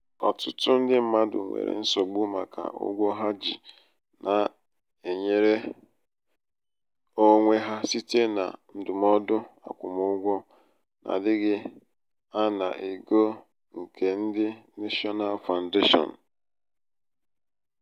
ọtụtụ ndị mmadụ nwere nsogbu màkà ụgwọ ha ji na-enwere onwe ha site na ndụmọdụ akwụmụgwọ n'adịghị ana ego nke ndị national foundation.